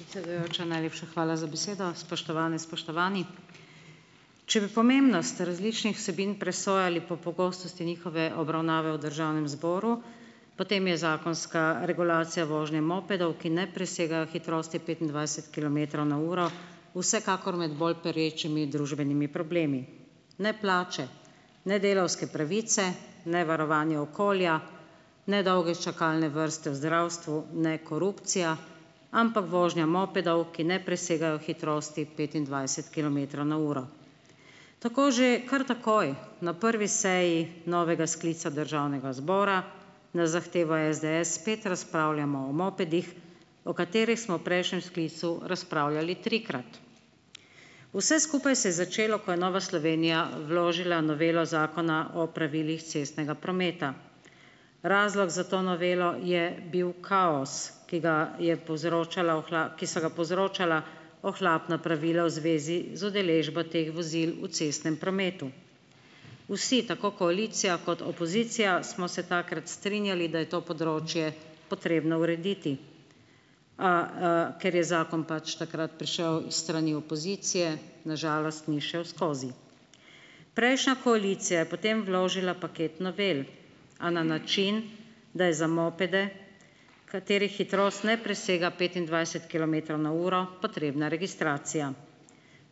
Predsedujoča, najlepša hvala za besedo. Spoštovane, spoštovani. Če bi pomembnost različnih vsebin presojali po pogostosti njihove obravnave v državnem zboru, potem je zakonska regulacija vožnje mopedov, ki ne presegajo hitrosti petindvajset kilometrov na uro, vsekakor med bolj perečimi družbenimi problemi. Ne plače, ne delavske pravice, ne varovanje okolja, ne dolge čakalne vrste v zdravstvu, ne korupcija, ampak vožnja mopedov, ki ne presegajo hitrosti petindvajset kilometrov na uro. Tako že kar takoj na prvi seji novega sklica državnega zbora na zahtevo SDS spet razpravljamo o mopedih, o katerih smo v prejšnjem sklical razpravljali trikrat. Vse skupaj se je začelo, ko je Nova Slovenija vložila novelo Zakona o pravilih cestnega prometa. Razlog za to novelo je bil kaos, ki ga je povzročala ki so ga povzročala ohlapna pravila v zvezi z udeležbo teh vozil v cestnem prometu. Vsi, tako koalicija kot opozicija, smo se takrat strinjali, da je to področje potrebno urediti. A, ker je zakon pač takrat prišel s strani opozicije, na žalost ni šel skozi. Prejšnja koalicija je potem vložila paket novel, a na način, da je za mopede, katerih hitrost ne presega petindvajset kilometrov na uro, potrebna registracija.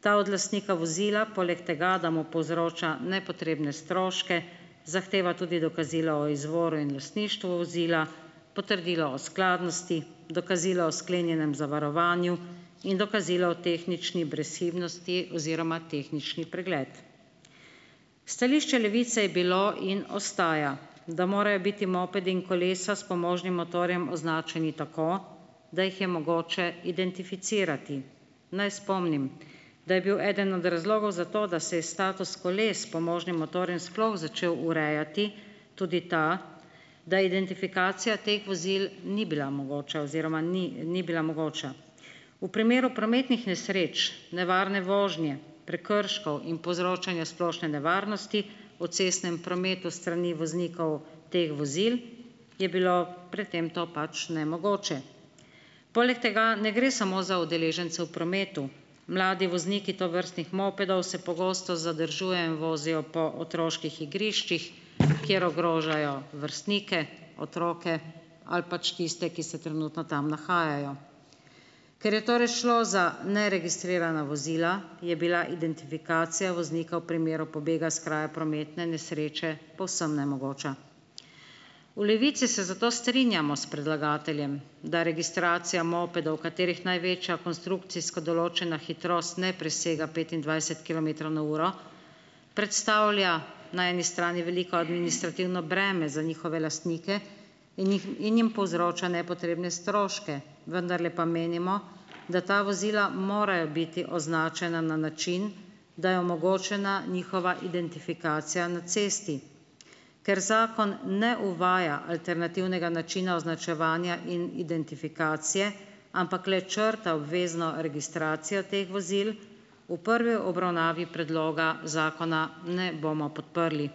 Ta od lastnika vozila poleg tega, da mu povzroča nepotrebne stroške, zahteva tudi dokazilo o izvoru in lastništvu vozila, potrdilo o skladnosti, dokazilo o sklenjenem zavarovanju in dokazila o tehnični brezhibnosti oziroma tehnični pregled. Stališče Levice je bilo in ostaja, da morajo biti mopedi in kolesa s pomožnim motorjem označeni tako, da jih je mogoče identificirati. Naj spomnim, da je bil eden od razlogov za to, da se je status koles s pomožnim motorjem sploh začel urejati, tudi da, da identifikacija teh vozil ni bila mogoča oziroma ni ni bila mogoča. V primeru prometnih nesreč, nevarne vožnje, prekrškov in povzročanja splošne nevarnosti v cestnem prometu s strani voznikov teh vozil, je bilo pred tem to pač nemogoče. Poleg tega ne gre samo za udeležence v prometu. Mladi vozniki tovrstnih mopedov se pogosto zadržujejo in vozijo po otroških igriščih, kjer ogrožajo vrstnike, otroke ali pač tiste, ki se trenutno tam nahajajo. Ker je torej šlo za neregistrirana vozila, je bila identifikacija voznika v primeru pobega s kraja prometne nesreče povsem nemogoča. V Levici se zato strinjamo s predlagateljem, da registracija mopedov, katerih največja konstrukcijsko določena hitrost ne presega petindvajset kilometrov na uro, predstavlja na eni strani veliko administrativno breme za njihove lastnike in jih in jim povzroča nepotrebne stroške, vendarle pa menimo, da ta vozila morajo biti označena na način, da je omogočena njihova identifikacija na cesti. Ker zakon ne uvaja alternativnega načina označevanja in identifikacije, ampak le črta obvezno registracijo teh vozil, v prvi obravnavi predloga zakona ne bomo podprli.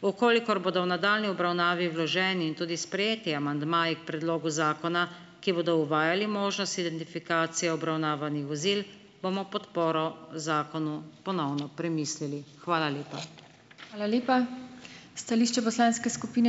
V kolikor bodo v nadaljnji obravnavi vloženi in tudi sprejeti amandmaji k predlogu zakona, ki bodo uvajali možnost identifikacije obravnavanih vozil, bomo podporo zakonu ponovno premislili. Hvala lepa.